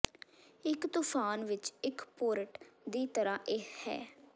ਇੱਕ ਤੂਫਾਨ ਵਿੱਚ ਇੱਕ ਪੋਰਟ ਦੀ ਤਰ੍ਹਾਂ ਇਹ ਹੈ